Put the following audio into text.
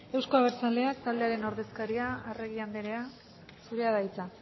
euzko abertzaleak taldearen ordezkaria arregi andrea zurea da hitza